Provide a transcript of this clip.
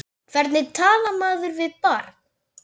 Hvernig talar maður við barn?